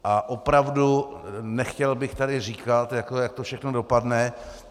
A opravdu nechtěl bych tady říkat, jak to všechno dopadne.